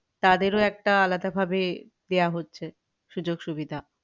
তাদেরও একটা আলাদা ভাবে দেওয়া হচ্ছে সূযোগ সুবিধা